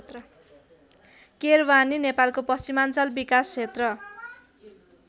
केरवानी नेपालको पश्चिमाञ्चल विकास क्षेत्र